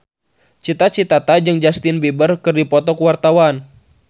Cita Citata jeung Justin Beiber keur dipoto ku wartawan